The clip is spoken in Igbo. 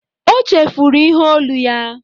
O chefuru ihe olu ya